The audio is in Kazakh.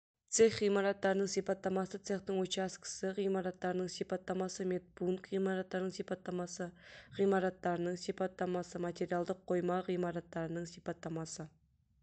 цех ғимараттарының сипаттамасы цехтың учаскісі ғимаратының сипаттамасы медпункт ғимараттарының сипаттамасы ғимараттарының сипаттамасы материалдық қойма ғимараттарының сипаттамасы